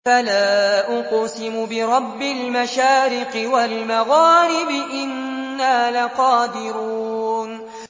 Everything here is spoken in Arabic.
فَلَا أُقْسِمُ بِرَبِّ الْمَشَارِقِ وَالْمَغَارِبِ إِنَّا لَقَادِرُونَ